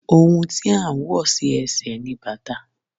Òhun tí à ń wọ̀ sí ẹsẹ̀ ni bàtà